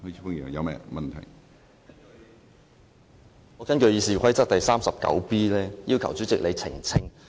主席，我根據《議事規則》第 39b 條要求你澄清。